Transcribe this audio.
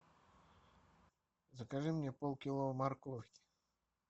закажи мне полкило морковки